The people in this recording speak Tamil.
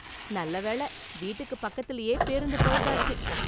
நல்ல வேள, வீட்டுக்கு பக்கத்துலயே பேருந்து பழுதாச்சு.